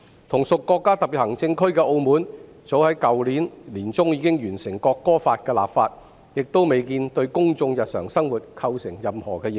同屬國家特別行政區的澳門早在去年年中已經完成《國歌法》的立法，亦未見對公眾日常生活構成任何影響。